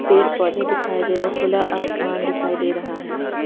पेड़ पौधे दिखाई दे रहे खुला आसमान दिखाई दे रहा है।